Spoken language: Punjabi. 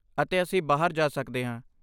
ਅਤੇ ਅਸੀਂ ਬਾਹਰ ਜਾ ਸਕਦੇ ਹਾਂ।